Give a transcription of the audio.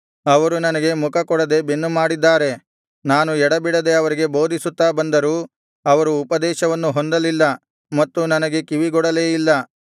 ಅವರು ನನಗೆ ಮುಖಕೊಡದೆ ಬೆನ್ನುಮಾಡಿದ್ದಾರೆ ನಾನು ಎಡೆಬಿಡದೆ ಅವರಿಗೆ ಬೋಧಿಸುತ್ತಾ ಬಂದರೂ ಅವರು ಉಪದೇಶವನ್ನು ಹೊಂದಲಿಲ್ಲ ಮತ್ತು ನನಗೆ ಕಿವಿಗೊಡಲೇ ಇಲ್ಲ